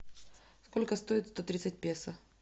сколько стоит сто тридцать песо